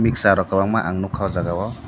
mixture rok kwbangma ang nukha oh jagao.